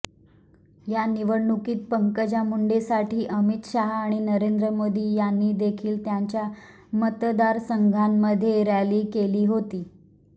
या निवडणुकीत पंकजा मुंडेसाठी अमित शहा आणि नरेंद्र मोदी यांनीदेखील त्यांच्या मतदारसंघांमध्ये रॅली केली होती